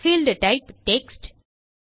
field type text